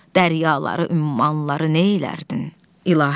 Dəryaları, ümmanları neylərdin, İlahi?